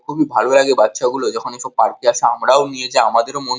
খুবই ভালো লাগে বাচ্চা গুলো যখন এইসব পার্ক -এ আসে আমরা ও নিয়ে যায় আমাদের ও মন --